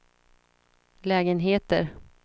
lägenheter